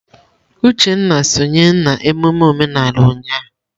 Uchenna sonye na emume omenala ụnyahụ.